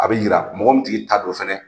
A bɛ yira mɔgɔ min tigi ta don fana.